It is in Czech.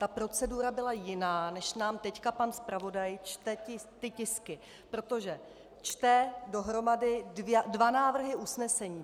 Ta procedura byla jiná, než nám teď pan zpravodaj čte ty tisky, protože čte dohromady dva návrhy usnesení.